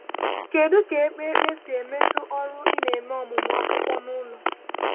Kédú ka ékpè ekpé si metụ ọrụ ị na-eme ọmụmụ akwụkwọ n’ụlọ?